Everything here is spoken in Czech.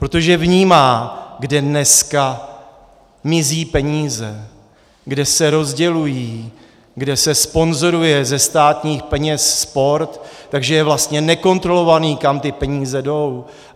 Protože vnímá, kde dneska mizí peníze, kde se rozdělují, kde se sponzoruje ze státních peněz sport, takže je vlastně nekontrolované, kam ty peníze jdou.